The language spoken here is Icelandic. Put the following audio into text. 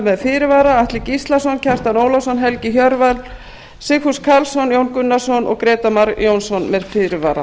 með fyrirvara atli gíslason kjartan ólafsson helgi hjörvar sigfús karlsson jón gunnarsson og grétar mar jónsson með fyrirvara